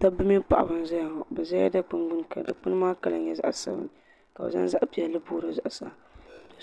Dabba mini paɣaba n zeya ŋɔ. Be ʒɛla dikpini gbuni ka dikpuni Kala nye zaɣ' sabinli ka bɛ zaŋ zaɣ' pielli booi di zuɣ' saa.